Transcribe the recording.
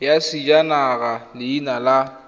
ya sejanaga ya leina la